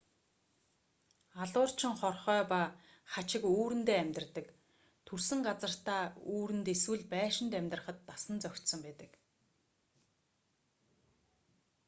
алуурчин хорхой ба хачиг үүрэндээ амьдардаг төрсөн газартаа үүрэнд эсвэл байшинд амьдрахад дасан зохицсон байдаг